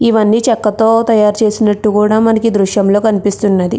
ఇవన్నీ చెక్కతో తయ్యారు చేసినట్టు కూడా మనకి దృశ్యం లో కనిపిస్తున్నది.